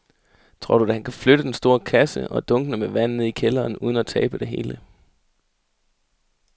Tror du, at han kan flytte den store kasse og dunkene med vand ned i kælderen uden at tabe det hele?